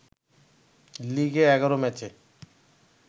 লিগে ১১ ম্যাচে